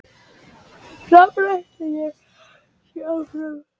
Framarar ætla sér áfram